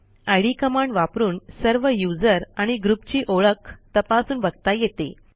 इद command वापरून सर्व user आणि ग्रुपची ओळख तपासून बघता येते